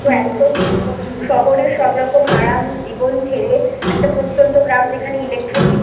শহরের সবরকম আরাম জীবন ছেড়ে একটা প্রত্যন্ত গ্রাম যেখানে Electricity